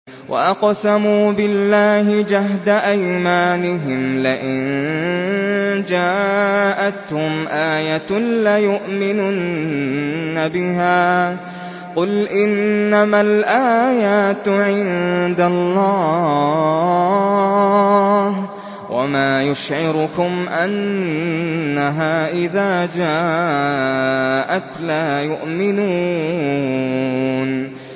وَأَقْسَمُوا بِاللَّهِ جَهْدَ أَيْمَانِهِمْ لَئِن جَاءَتْهُمْ آيَةٌ لَّيُؤْمِنُنَّ بِهَا ۚ قُلْ إِنَّمَا الْآيَاتُ عِندَ اللَّهِ ۖ وَمَا يُشْعِرُكُمْ أَنَّهَا إِذَا جَاءَتْ لَا يُؤْمِنُونَ